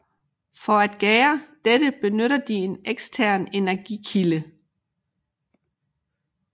For at gære dette benytter de en ekstern energikilde